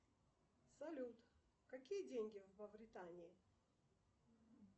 салют какие деньги в мавритании